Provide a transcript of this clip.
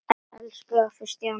Elsku afi Stjáni.